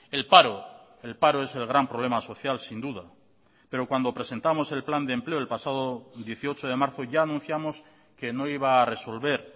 el paro el paro es el gran problema social sin duda pero cuando presentamos el plan de empleo el pasado dieciocho de marzo ya anunciamos que no iba a resolver